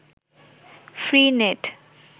free net